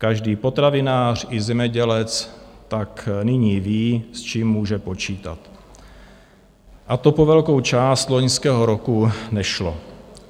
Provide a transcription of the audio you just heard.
Každý potravinář i zemědělec tak nyní ví, s čím může počítat, a to po velkou část loňského roku nešlo.